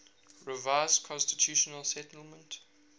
revised constitutional settlement